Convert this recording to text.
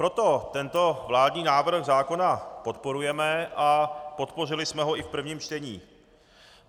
Proto tento vládní návrh zákona podporujeme a podpořili jsme ho i v prvním čtení.